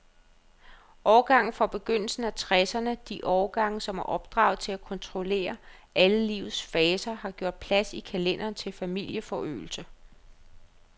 Årgangene fra begyndelsen af tresserne, de årgange, som er opdraget til at kontrollere alle livets faser, har gjort plads i kalenderen til familieforøgelse.